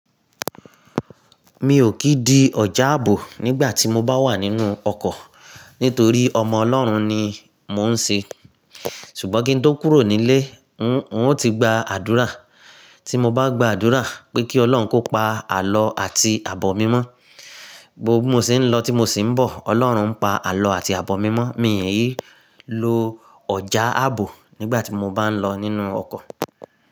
Mi ò kì í di ọjà àbò nígbà tí mo bá wà nínú ọkọ̀ nítorí ọmọ Ọlọ́run ni mò ń ṣe. Ṣùgbọ́n kí n tó kúrò nílé, n ó ti gba àdúrà. Tí mo bá gba àdúrà pé kí Ọlọ́run kó pa àlọ́ àti àbọ̀ mi mọ́, gbogbo bí mo se ń lọ tí mo sì ń bọ̀, Ọlọ́run ń pa àlọ́ àti àbọ̀ mi mọ́. Mi ì lo ọjà àbò nígbà tí mo bá ń lọ nínú ọkọ̀